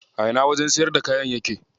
A ina wajen siyarda kayan yake?